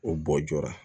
O bɔ joona